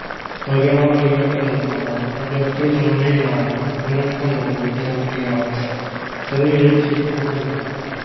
ਵਿਗਿਆਨ ਦੀਆਂ ਕਿਤਾਬਾਂ ਅਜੋਕੇ ਸਮੇਂ ਨਾਲ ਮਨੁੱਖ ਨੂੰ ਜੋੜਦੀਆਂ ਹਨ। ਸਰੀਰਕ ਸਿੱਖਿਆ ਨਾਲ